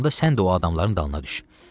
onda sən də o adamların dalına düş.